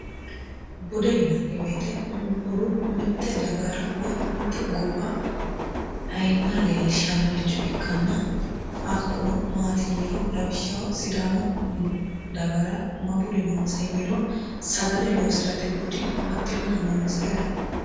bude yinanni woyeete budu mitte dagara woy mitte gobba ayiimma leellishannoricho ikkanna hakkuno maati yiniro lawishshaho sidamu dagara ma budi noonsa yiniro sagale loosi'rate budi baxxinohu noonsa yaate